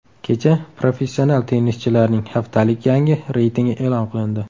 Kecha professional tennischilarning haftalik yangi reytingi e’lon qilindi.